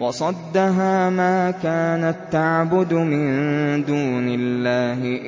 وَصَدَّهَا مَا كَانَت تَّعْبُدُ مِن دُونِ اللَّهِ ۖ